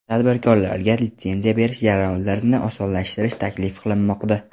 Tadbirkorlarga litsenziya berish jarayonlarini osonlashtirish taklif qilinmoqda.